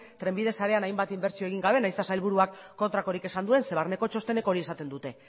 trenbide sarean hainbat inbertsio egin gabe nahiz eta sailburuak kontrakorik esan duen ze barneko txostenek hori esaten dute